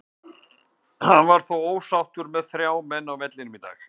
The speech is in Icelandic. Hann var þó ósáttur með þrjá menn á vellinum í dag.